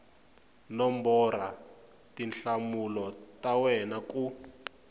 nombora tinhlamulo ta wena ku